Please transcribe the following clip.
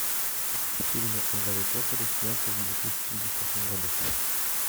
фильмы о гарри поттере снятые в две тысячи десятом году